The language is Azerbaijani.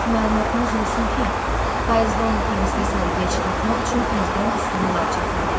Ancaq məlumatınız olsun ki, payızda onu Parisdə sərgiyə çıxartmaq üçün təzdən üstünə lak çəkməliyəm.